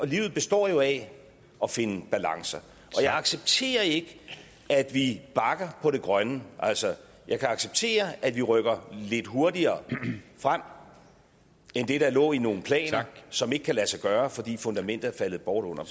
livet består jo af at finde balancer og jeg accepterer ikke at vi bakker på det grønne altså jeg kan acceptere at vi rykker lidt hurtigere frem end det der lå i nogle planer som ikke kan lade sig gøre fordi fundamentet er faldet bort under